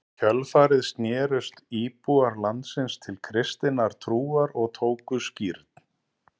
Í kjölfarið snerust íbúar landsins til kristinnar trúar og tóku skírn.